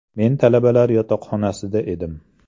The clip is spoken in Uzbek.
Men talabalar yotoqxonasida edim.